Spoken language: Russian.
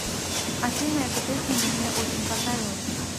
афина эта песня мне очень понравилась